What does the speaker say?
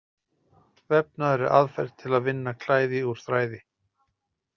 Vefnaður er aðferð til að vinna klæði úr þræði.